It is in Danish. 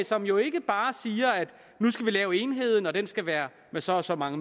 som jo ikke bare siger at nu skal vi lave en enhed og at den skal være på så og så mange